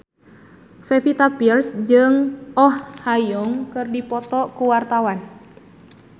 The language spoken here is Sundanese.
Pevita Pearce jeung Oh Ha Young keur dipoto ku wartawan